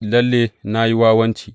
Lalle na yi wawanci!